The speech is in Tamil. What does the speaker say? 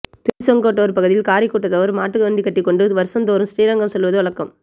திருசெங்கோட்டு பகுதியில் காரி கூட்டத்தவர் மாட்டு வண்டி கட்டிக் கொண்டு வருஷந்தோறும் ஸ்ரீரங்கம் செல்வது வழக்கம்